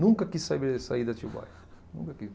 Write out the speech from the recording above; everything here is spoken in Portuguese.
Nunca quis saber de sair de Atibaia, nunca quis.